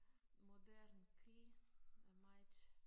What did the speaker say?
Moderne krig er meget